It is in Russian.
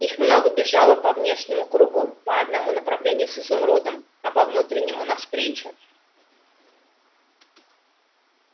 их много бежало во внешнем кругу по одному направлению с изумрудом а по внутреннем навстречу